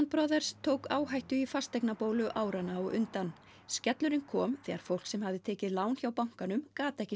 Brothers tók áhættu í fasteignabólu áranna á undan skellurinn kom þegar fólk sem hafði tekið lán hjá bankanum gat ekki